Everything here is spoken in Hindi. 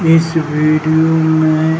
इस वीडियो में --